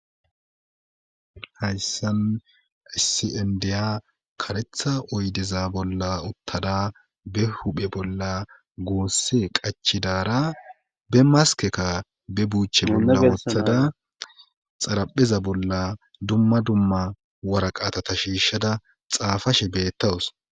Hayssan ssindiya karetha oydeza bolla uttada be huphe bolla goosse qachidaara be maskeka be buuche bolla uttada xarapheza bolla dumma dumma waraqaatata shiishshada xaafashe beettawus.